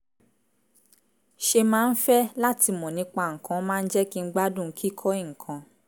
ṣe máa ń fẹ́ láti mọ̀ nípa nǹkan máa ń jẹ́ kí n gbádùn kíkọ́ nǹkan